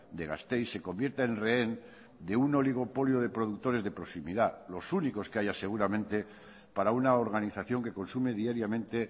de gasteiz se convierta en rehén de un oligopolio de productores de proximidad los únicos que haya seguramente para una organización que consume diariamente